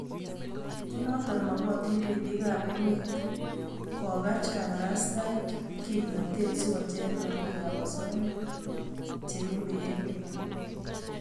konota makotin ripik ap emet kokach kaparastaik kimnatet sikocher namik ap osoya chengemei emet nyoo